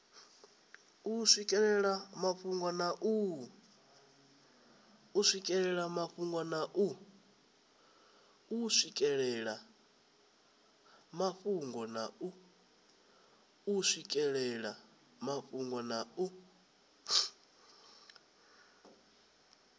u swikelela mafhungo na u